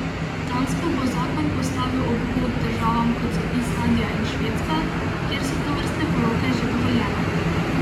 Dansko bo zakon postavil ob bok državam kot so Islandija in Švedska, kjer so tovrstne poroke že dovoljene.